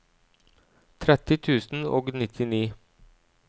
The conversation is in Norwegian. tretti tusen og nittini